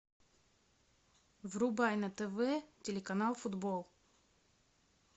врубай на тв телеканал футбол